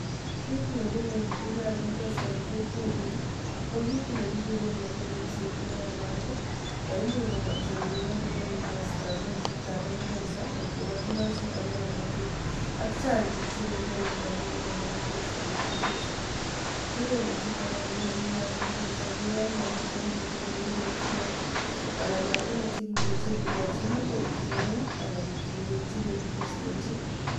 Kit nebune bikab mpesa eng kokwenyu ko kit ne kikure momi ripset neyamatI ne imuch kobwa chorik ak nyon ko scaman chitab mpesa kot ko motindoi chito ngomnatet ak chang bik che kechore rabiinik eng mpesa betusichu. Kewelutiek age nebune bikab mpesa ko yon momitei kit ne kekure float anan rabiinik chekimuchen kekochi bik kowithdrawen anan kindechi kedepositenchi.